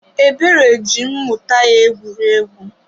Ebere ji mmuta ya egwuregwu.